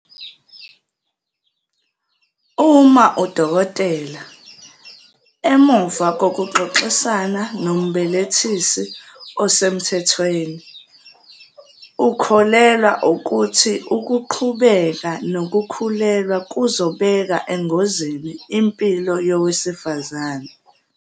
Uma udokotela, emva kokuxoxisana nombelethisi osemthethweni, ukholelwa ukuthi ukuqhubeka okukhulelwa kuzobeka engozini impilo yowesifazane.